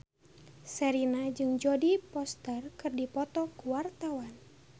Sherina jeung Jodie Foster keur dipoto ku wartawan